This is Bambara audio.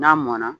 N'a mɔnna